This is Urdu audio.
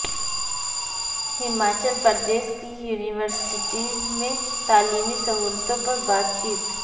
ہماچل پردیش کی یونیورسٹیز میں تعلیمی سہولتوں پر بات چیت